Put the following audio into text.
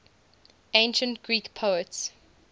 ancient greek poets